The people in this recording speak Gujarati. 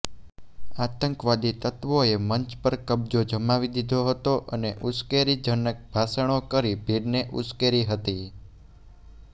આતંકવાદી તત્વોએ મંચ પર કબજો જમાવી દીધો હતો અને ઉશ્કેરણીજનક ભાષણો કરી ભીડને ઉશ્કેરી હતી